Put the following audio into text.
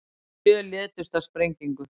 Sjö létust í sprengingu